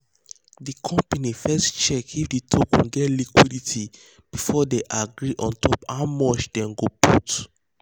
the company first check if the token get liquidity before they agree on top how much them go put.